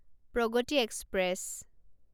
Pragati express